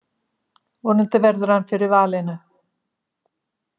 Vonandi verður hann fyrir valinu.